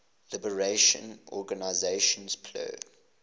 liberation organization plo